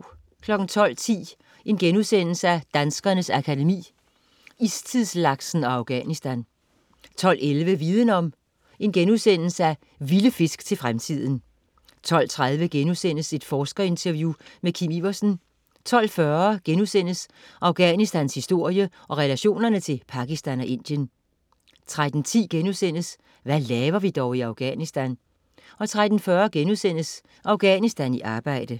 12.10 Danskernes Akademi: Istidslaksen & Afghanistan* 12.11 Viden Om: Vilde fisk til fremtiden* 12.30 Forskerinterview med Kim Iversen* 12.40 Afghanistans historie og relationerne til Pakistan og Indien* 13.10 Hvad laver vi dog i Afghanistan?* 13.40 Afghanistan i arbejde*